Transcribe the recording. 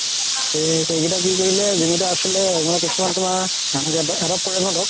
সেই সেইকেইটা কি কৰিলে যিকেইটা আছিলে মানে কিছুমান তুমাৰ